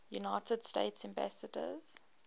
united states ambassadors